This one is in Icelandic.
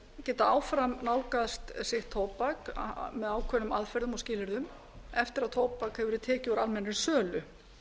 geta áfram nálgast sitt tóbak á ákveðnum aðgerðum og skilyrðum eftir að tóbak hefur verið tekið úr almennri sölu